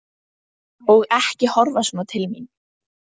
Og ekki horfa svona til mín!